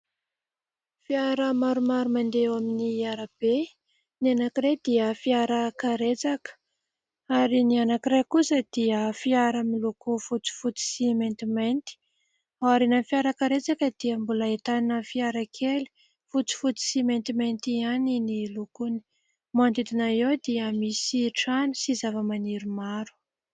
Fiara maromaro mandeha eo amin'ny arabe : ny anankiray dia fiarakaretsaka ary ny anankiray kosa dia fiara loko fotsifotsy sy maintimanty. Aorianany fiarakaretsaka dia mbola ahitana fiara kely fotsifotsy sy maintimainty ihany ny lokony ; manodidina eo dia misy trano sy zavamaniry maro.